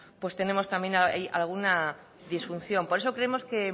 pues tenemos también ahí alguna disfunción por eso creemos que